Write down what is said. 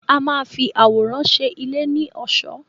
A máa fi àwòrán ṣe ilé ní ọ̀ṣọ́.